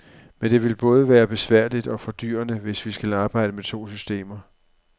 Men det vil både være besværligt og fordyrende, hvis vi skal arbejde med to systemer.